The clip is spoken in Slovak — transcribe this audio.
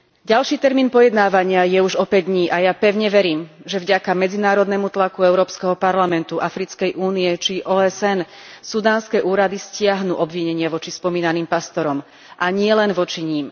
Ďalší termín pojednávania je už o päť dní a ja pevne verím, že vďaka medzinárodnému tlaku Európskeho parlamentu, Africkej únie či OSN sudánske úrady stiahnu obvinenie voči spomínaným pastorom, a nielen voči nim.